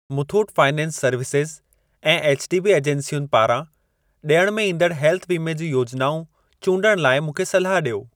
Muthoot finance services ऐं HDB एजेंसियुनि पारां ॾियण में ईंदड़ हेल्थ वीमे जूं योजनाऊं चूंडण लाइ मूंखे सलाह ॾियो।